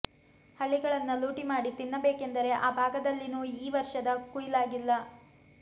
ಹಳ್ಳಿಗಳನ್ನ ಲೂಟಿ ಮಾಡಿ ತಿನ್ನಬೇಕೆಂದರೆ ಆ ಭಾಗದಲ್ಲಿನ್ನೂ ಈ ವರ್ಷದ ಕುಯ್ಲಾಗಿಲ್ಲ